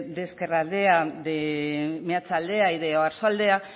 de ezkerraldea de meatzaldea y de oarsoaldea